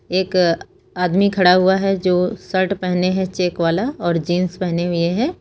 एक आदमी खड़ा हुआ है जो शर्ट पहने हैं चेक वाला और जींस पहने हुए हैं।